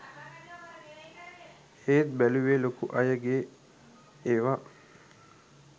ඒත් බැලුවේ ලොකු අයගේ ඒව